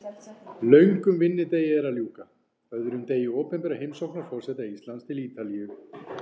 Löngum vinnudegi er að ljúka, öðrum degi opinberrar heimsóknar forseta Íslands til Ítalíu.